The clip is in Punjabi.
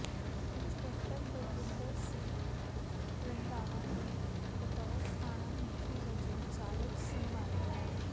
ਇੰਸਪੈਕਟਰ ਬਲਵਿੰਦਰ ਸਿੰਘ ਰੰਧਾਵਾ ਨੇ ਬਤੌਰ ਥਾਣਾ ਮੁਖੀ ਵਜੋਂ ਚਾਰਜ ਸੰਭਾਲਿਆ